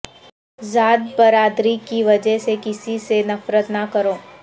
ذات برادری کی وجہ سے کسی سے نفرت نہ کرو